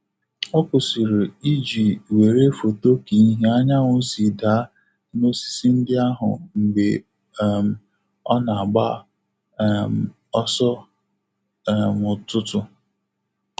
Ọ kwụsịrị iji were foto ka ìhè anyanwụ si daa n'osisi ndị ahụ mgbe um ọ na-agba um ọsọ um n'ụtụtụ.